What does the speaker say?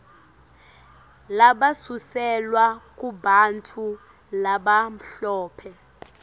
labasuselwa kubantfu labamhlophe